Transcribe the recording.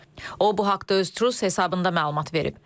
O bu haqda öz Tru hesabında məlumat verib.